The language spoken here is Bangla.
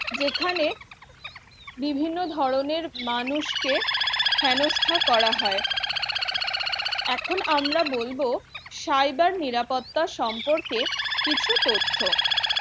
যেখানে বিভিন্ন ধরনের মানুষকে থেনস্থা করা হয়, এখন আমরা বলব cyber নিরাপত্তা সম্পর্কে কিছু তথ্য